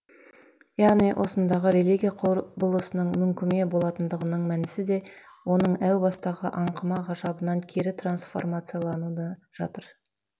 яғни осындағы религия құбылысының мүңкіме болатындығының мәнісі де оның әу бастағы аңқыма ғажабынан кері трансформациялануында жатыр